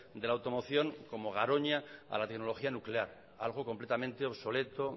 de la automoción como garoña a la tecnología nuclear algo completamente obsoleto